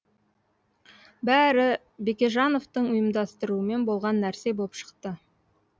бәрі бекежановтың ұйымдастыруымен болған нәрсе боп шықты